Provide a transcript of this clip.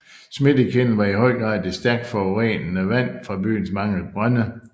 Smittekilden var i høj grad det stærkt forurenede vand fra byens mange brønde